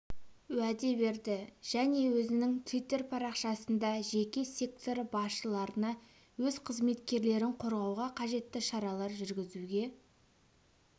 уәде берді және өзінің твиттер парақшасында жеке сектор басшыларына өз қызметкерлерін қорғауға қажетті шаралар жүргізуге